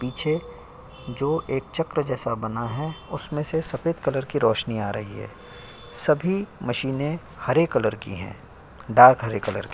पीछे जो एक चक्र जैसा बना है उसमें से सफेद कलर की रोशनी आ रही है सभी मशीने हरे कलर की हैं डार्क हरे कलर की।